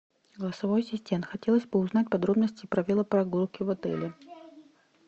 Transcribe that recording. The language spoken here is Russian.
голосовой ассистент хотелось бы узнать подробности про велопрогулки в отеле